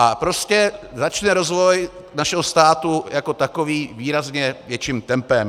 A prostě začne rozvoj našeho státu jako takový výrazně větším tempem.